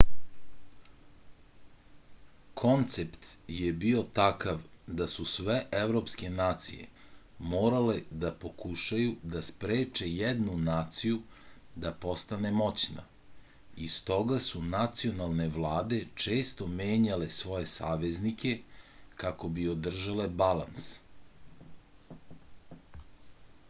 koncept je bio takav da su sve evropske nacije morale da pokušaju da spreče jednu naciju da postane moćna i stoga su nacionalne vlade često menjale svoje saveznike kako bi održale balans